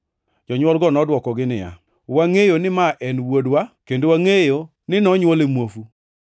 Jonywolgo nodwokogi niya, “Wangʼeyo ni ma en wuodwa, kendo wangʼeyo ni nonywole muofu.